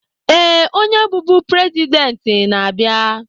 Ee, onye bụbu president na-abịa.